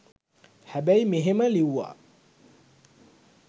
හැබැයි මෙහෙම ලිව්වා